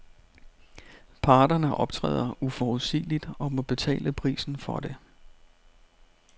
Parterne optræder uforudsigeligt og må betale prisen for det.